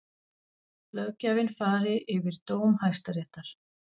Löggjafinn fari yfir dóm Hæstaréttar